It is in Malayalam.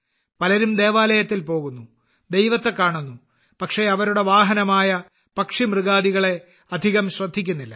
പലരും ദേവാലയത്തിൽ പോകുന്നു ദൈവത്തെ കാണുന്നു പക്ഷേ അവരുടെ വാഹനമായ പക്ഷി മൃഗാദികളെ അധികം ശ്രദ്ധിക്കുന്നില്ല